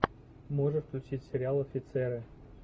можешь включить сериал офицеры